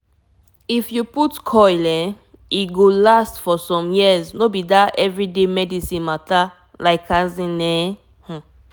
to put coil e get small main ten ancefor easy family planing wey no get problem. true talk i go lie for u?